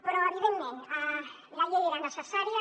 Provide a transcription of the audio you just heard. però evidentment la llei era necessària